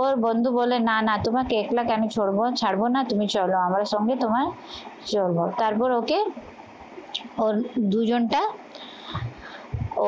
ওর বন্ধু বলে না না তোমাকে একলাকে আমি ছাড়বো ছাড়বো না, তুমি চলো আমার সঙ্গে তোমায় চলবো তারপর ওকে দুজনটা